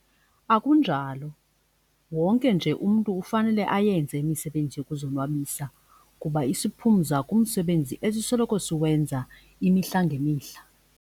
Akunjalo, wonke nje umntu ufanele ayenze imisebenzi yokuzonwabisa kuba isiphumza kumsebenzi esisoloko siwenza imihla ngemihla.